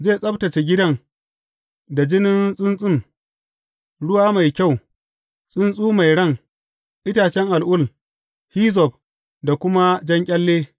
Zai tsabtacce gidan da jinin tsuntsun, ruwa mai kyau, tsuntsu mai ran, itacen al’ul, hizzob da kuma jan ƙyalle.